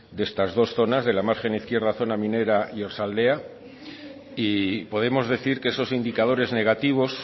de estas dos zonas de la margen izquierda zona minera y oarsoaldea y podemos decir que esos indicadores negativos